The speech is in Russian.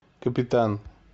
капитан